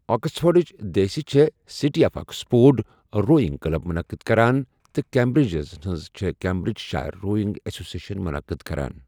آکسفورڈٕچ دیسی چھِ City of Oxford Rowing Club منعقد کران تہٕ کیمبرجزَن ہٕنٛز چھِ Cambridgeshire Rowing Association منعقد کران۔